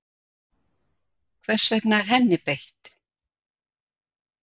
hvers vegna er henni beitt